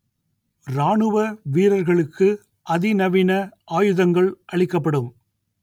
ராணுவ வீரர்களுக்கு அதிநவீன ஆயுதங்கள் அளிக்கப்படும்